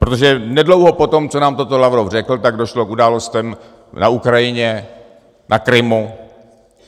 Protože nedlouho poté, co nám to Lavrov řekl, tak došlo k událostem na Ukrajině, na Krymu.